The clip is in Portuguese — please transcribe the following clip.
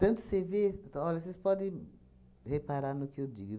Tanto você vê... Olha, vocês podem reparar no que eu digo.